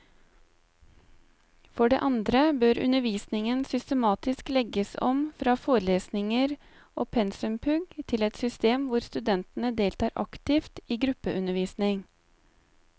For det andre bør undervisningen systematisk legges om fra forelesninger og pensumpugg til et system hvor studentene deltar aktivt i gruppeundervisning.